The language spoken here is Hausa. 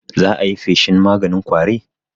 za ayi feshin maganin ƙwari?